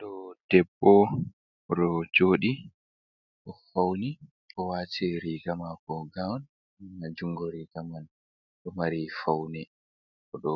Do debbo o ɗo jodi, o fauni, o wati riga mako gaun, na njungo riga man ɗo mari faune, o ɗo